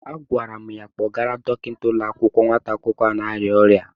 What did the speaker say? Agwara m ya kpọrọgara Dọkịta ụlọ akwụkwọ nwata akwụkwọ ahụ na-arịa ọrịa.